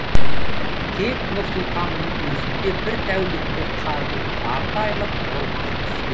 тек нұр сұлтанның өзінде бір тәулікте қардың жарты айлық нормасы түскен